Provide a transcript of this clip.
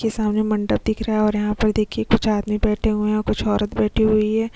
के सामने मंडप दिख रहा है और यहाँ पर देखिए कुछ आदमी बैठे हुए हैं और कुछ औरत बैठी हुई है।